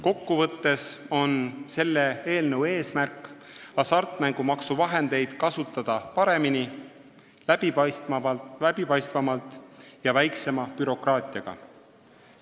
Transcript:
Kokkuvõtlikult öeldes on selle eelnõu eesmärk kasutada hasartmängumaksuvahendeid paremini, läbipaistvamalt ja väiksema bürokraatiaga.